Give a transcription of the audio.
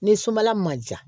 Ni sumala ma ja